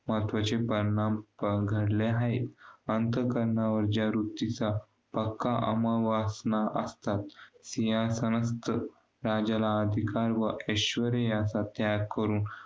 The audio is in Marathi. अ अहिंसा सत्य अस्थेय ब्रह्मचर्य अपरिग्रह अ पाच प्रकार सांगितले आहेत अहिंसा म्हणजे कोणत्याही प्राणी मात्रास पिडा त्रास न होणे हिंसा करू नये मनाने सुद्धा दुसऱ्यांचे अहित करू नये सत्य म्हणजे खोटे बोलू नये व~